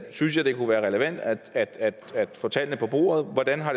synes jeg det kunne være relevant at få tallene på bordet hvordan har